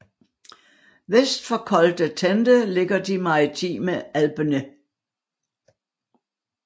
Vest for Col de Tende ligger De maritime Alpene